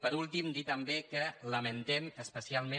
per últim dir també que lamentem especialment